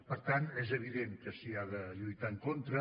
per tant és evident que s’hi ha de lluitar en contra